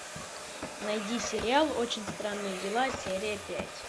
найди сериал очень странные дела серия пять